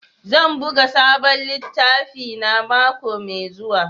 Zan buga sabon littafina mako mai zuwa.